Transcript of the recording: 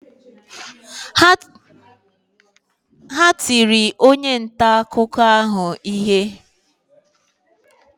Ha tiri onye nta akụkọ anyị ihe